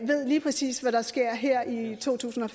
ved lige præcis hvad der sker her i totusinde